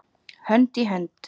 Hönd í hönd.